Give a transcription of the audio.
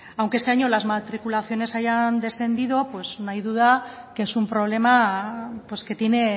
aunque este año las matriculaciones hayan descendido no hay duda que es un problema que tiene